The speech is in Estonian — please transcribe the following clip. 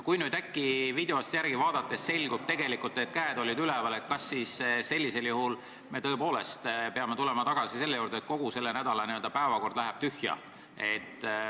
Kui nüüd videost järele vaadates selgub, et käed olid üleval, siis kas sellisel juhul peame tõepoolest tulema tagasi selle juurde, et kogu selle nädala päevakord läheb tühja?